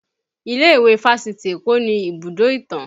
Ilé ìwé fásitì Eko ni ibùdó ìtàn